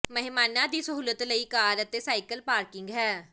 ਮਹਿਮਾਨਾਂ ਦੀ ਸਹੂਲਤ ਲਈ ਕਾਰ ਅਤੇ ਸਾਈਕਲ ਪਾਰਕਿੰਗ ਹੈ